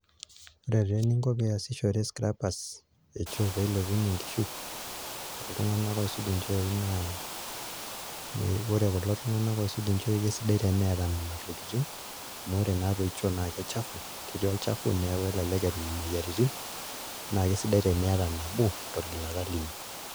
Ore taa eninko pee iasishore scrappers echoo pee ilepunyie enkishui oltung'anak oisuj nchooi naa ore kulo tung'anak oisuj nchooi kesidai teneeta nena tokitin amu ore naatoi choo naa kechafu, ketii olchafu neeku elelek etum imoyiaritin naa kesidai teniata nabo torgilata lino.